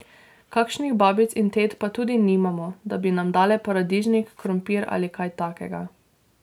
Kakšnih babic in tet pa tudi nimamo, da bi nam dale paradižnik, krompir ali kaj takega.